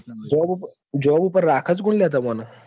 Job ઉપર રાખે જ કોણ તમને?